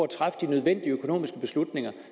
træffe de nødvendige økonomiske beslutninger